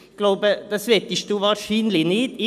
Ich glaube, das möchten Sie wahrscheinlich nicht.